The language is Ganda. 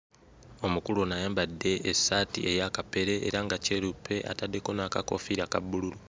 Omukulu ono ayambadde essaati eya kapere era nga kyeruppe ataddeko n'akakoofiira aka bbululu.